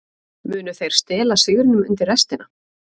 Munu þeir stela sigrinum undir restina?